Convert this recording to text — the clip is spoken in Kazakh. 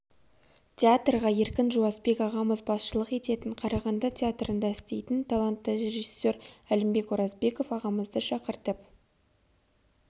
театрға еркін жуасбек ағамыз басшылық ететін қарағанды театрында істейтін талантты режиссер әлімбек оразбеков ағамызды шақыртып